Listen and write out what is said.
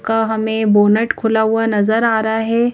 का हमें बोनट खुला हुआ नजर आ रहा है।